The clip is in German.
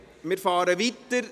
Wir fahren weiter.